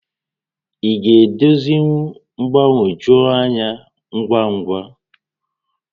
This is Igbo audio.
Ị ga-edozinwu mgbagwoju ányá ngwa ngwa?